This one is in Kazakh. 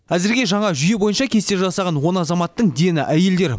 әзірге жаңа жүйе бойынша кесте жасаған он азаматтың дені әйелдер